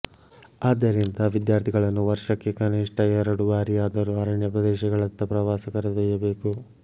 ಆದ್ದರಿಂದ ವಿದ್ಯಾರ್ಥಿಗಳನ್ನು ವರ್ಷಕ್ಕೆ ಕನಿಷ್ಟ ಎರಡು ಬಾರಿಯಾದರೂ ಅರಣ್ಯಪ್ರದೇಶಗಳತ್ತ ಪ್ರವಾಸ ಕರೆದೊಯ್ಯಬೇಕು